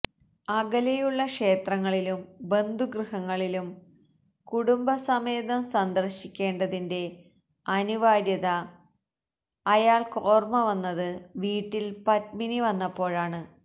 അകലെയുള്ള ക്ഷേത്രങ്ങളിലും ബന്ധുഗൃഹങ്ങളിലും കുടുംബസമേതം സന്ദര്ശിക്കേണ്ട തിന്റെ അനിവാര്യത അയാള്ക്കോര്മ്മ വന്നത് വീട്ടി ല് പത്മിനി വന്നപ്പോഴാണ്